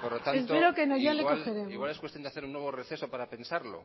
por lo tanto igual es cuestión de hacer un nuevo receso para pensarlo